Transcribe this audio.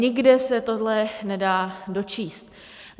Nikde se tohle nedá dočíst.